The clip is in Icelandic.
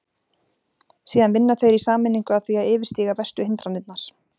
Síðan vinna þeir í sameiningu að því að yfirstíga verstu hindranirnar.